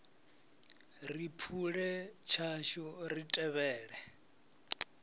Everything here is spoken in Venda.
ri phule tshashu ri tevhele